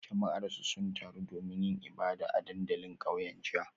Jama'arsu sun taru domin yin ibada a dandalin kauyen jiya